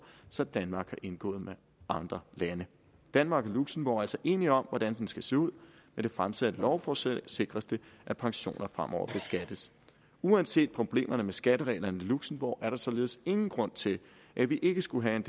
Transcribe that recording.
som danmark har indgået med andre lande danmark og luxembourg er altså enige om hvordan den skal se ud med det fremsatte lovforslag sikres det at pensioner fremover beskattes uanset problemerne med skattereglerne i luxembourg er der således ingen grund til at vi ikke skulle have en